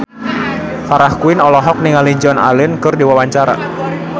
Farah Quinn olohok ningali Joan Allen keur diwawancara